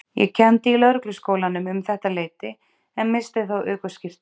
Ég kenndi í Lögregluskólanum um þetta leyti en missti þá ökuskírteinið.